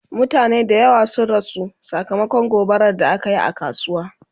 mutane da yawa sun rasu sakamakon gobarar da akayi a kasuwa